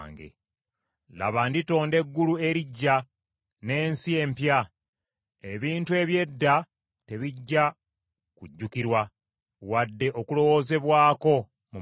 “Laba nditonda eggulu eriggya n’ensi empya. Ebintu eby’edda tebijja kujjukirwa wadde okulowoozebwako mu mutima.